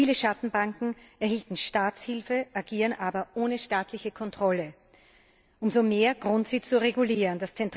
Viele Schattenbanken erhielten Staatshilfe, agieren aber ohne staatliche Kontrolle umso mehr Grund, sie zu regulieren.